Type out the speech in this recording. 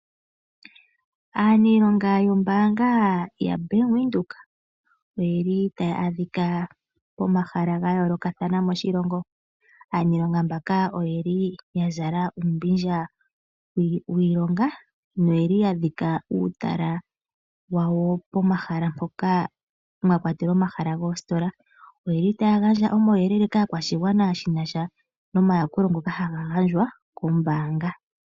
Aaniilonga yombaanga yaBank Windhoek oye li taya adhika pomahala ga yoolokathana moshilongo. Aaniilonga mbanga oye li ya zala uumbindja wiilonga noye li ya dhika uutala wawo pomahala mpoka mwa kwatelwa omahala goositola. Oye li taya gandja omauyelele kaakwashigwana shi na sha nomayakulo ngoka haga gandjwa kombaanga.